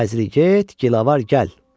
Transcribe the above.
xəzri get, gilavar gəl.